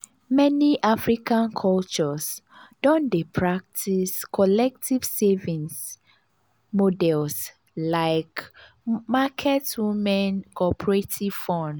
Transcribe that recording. meni african cultures don dey practice collective savings models like di market women cooperative funds.